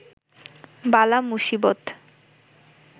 বালা মুসিবত